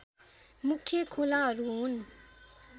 मुख्य खोलाहरू हुन्